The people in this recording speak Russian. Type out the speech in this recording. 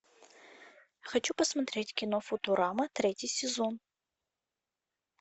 хочу посмотреть кино футурама третий сезон